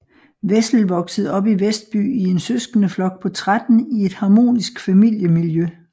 Wessel voksede op i Vestby i en søskendeflok på 13 i et harmonisk familiemiljø